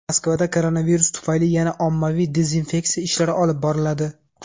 Moskvada koronavirus tufayli yana ommaviy dezinfeksiya ishlari olib boriladi.